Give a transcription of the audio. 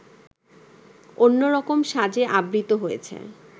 অন্যরকম সাজে আবৃত হয়েছে